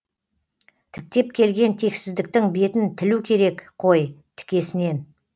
тіктеп келген тексіздіктің бетін тілу керек қой тікесінен